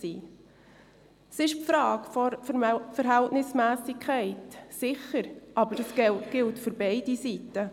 Es geht um die Frage der Verhältnismässigkeit, aber das gilt für beide Seiten.